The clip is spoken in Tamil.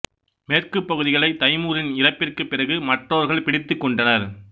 மேற்குப் பகுதிகளை தைமூரின் இறப்பிற்குப் பிறகு மற்றவர்கள் பிடித்துக் கொண்டனர்